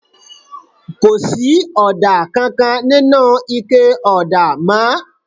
Kò sí ọ̀dà kankan nínú ike ọ̀dà mọ́